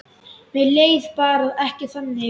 Mér leið bara ekki þannig.